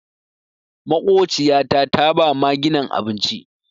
Makociyata ta ba maginan abinci.